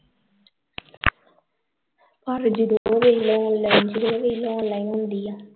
ਪਰ ਜਦੋ ਉਹ ਵੇਖਲੇ online ਹੁੰਦੀ ਆ